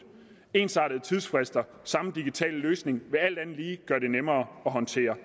ensartede tidsfrister og samme digitale løsning vil alt andet lige gøre det nemmere at håndtere